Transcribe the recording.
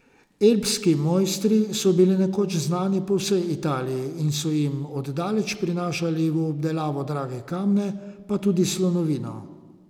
Elbski mojstri so bili nekoč znani po vsej Italiji in so jim od daleč prinašali v obdelavo drage kamne pa tudi slonovino.